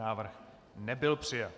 Návrh nebyl přijat.